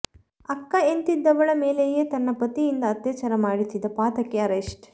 ಅಕ್ಕ ಎನ್ನತ್ತಿದ್ದವಳ ಮೇಲೆಯೇ ತನ್ನ ಪತಿಯಿಂದ ಅತ್ಯಾಚಾರ ಮಾಡಿಸಿದ ಪಾತಕಿ ಅರೆಸ್ಟ್